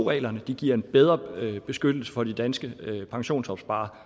reglerne giver en bedre beskyttelse for de danske pensionsopsparere